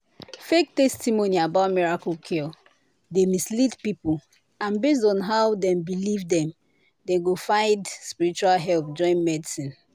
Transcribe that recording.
fake testimony about miracle cure dey mislead people and based on how dem believe dem go find spiritual help join medicine.